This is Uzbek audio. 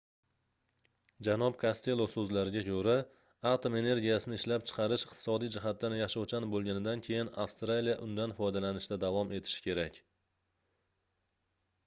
janob kostelo soʻzlariga koʻra atom energiyasini ishlab chiqarish iqtisodiy jihatdan yashovchan boʻlganidan keyin avstraliya undan foydalanishda davom etishi kerak